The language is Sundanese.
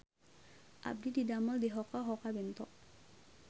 Abdi didamel di Hoka Hoka Bento